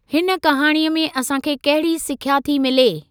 हिन कहाणीअ मां असांखे कहिड़ी सिख्या थी मिले?